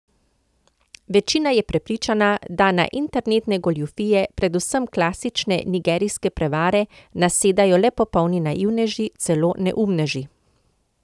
Večina je prepričana, da na internetne goljufije, predvsem klasične nigerijske prevare, nasedajo le popolni naivneži, celo neumneži.